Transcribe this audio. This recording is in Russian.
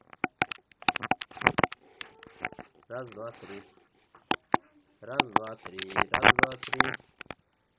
раз два три раз-два-три раз два три